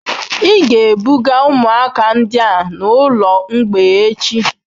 Ị ga-ebuga ụmụaka ndị a n'ụlọ mgbei echi.